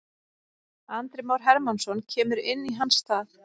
Andri Már Hermannsson kemur inn í hans stað.